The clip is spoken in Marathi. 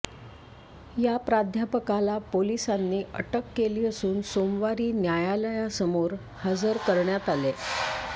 या प्राध्यापकाला पोलिसांनी अटक केली असून सोमवारी न्यायालयासमोर हजर करण्यात आले